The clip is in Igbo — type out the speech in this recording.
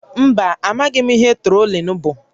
Mba, amaghị m ihe trolling bụ